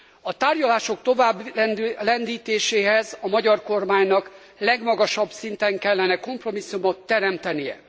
A tárgyalások továbblendítéséhez a magyar kormánynak legmagasabb szinten kellene kompromisszumot teremtenie.